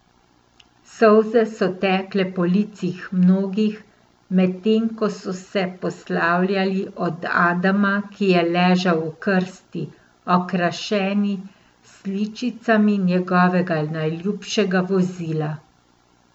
Solze so tekle po licih mnogih, medtem ko so se poslavljali od Adama, ki je ležal v krsti, okrašeni s sličicami njegovega najljubšega vozila.